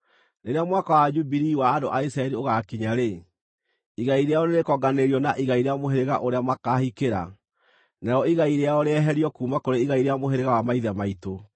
Rĩrĩa mwaka wa Jubilii wa andũ a Isiraeli ũgaakinya-rĩ, igai rĩao nĩrĩkonganĩrĩrio na igai rĩa mũhĩrĩga ũrĩa makaahikĩra, narĩo igai rĩao rĩeherio kuuma kũrĩ igai rĩa mũhĩrĩga wa maithe maitũ.”